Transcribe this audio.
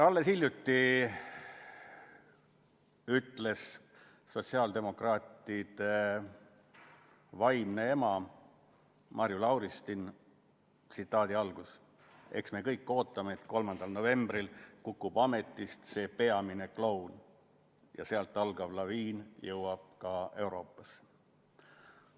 Alles hiljuti ütles sotsiaaldemokraatide vaimne ema Marju Lauristin: "Eks me kõik ootame, et 3. novembril kukub ametist see peamine kloun ja sealt algav laine jõuab ka Euroopasse.